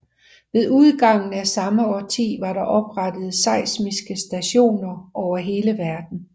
Ved udgangen af samme årti var der oprettet seismiske stationer over hele verden